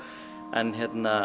en